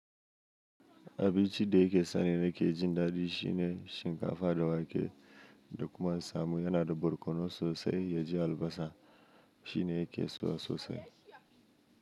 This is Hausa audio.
Abichi ɗe ke sani reke jindadi shine shinkafa da wake, da kuma samu yana da borkono sosai, ya ji albasa shine yake so sosai.